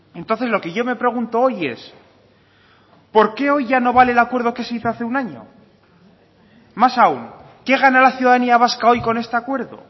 entonces lo que yo me pregunto hoy es por qué hoy ya no vale el acuerdo que se hizo hace un año más aún qué gana la ciudadanía vasca hoy con este acuerdo